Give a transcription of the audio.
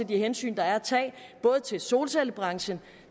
de hensyn der er at tage både til solcellebranchen